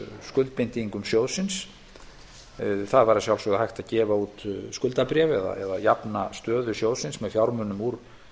skuldbindingum sjóðsins það væri að sjalfsögðu hægt að gefa út skuldabréf eða jafna stöðu sjóðsins með fjármunum úr